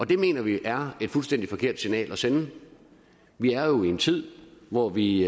det mener vi er et fuldstændig forkert signal at sende vi er jo i en tid hvor vi